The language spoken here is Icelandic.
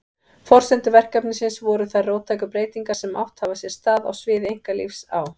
Forsendur verkefnisins voru þær róttæku breytingar sem átt hafa sér stað á sviði einkalífs á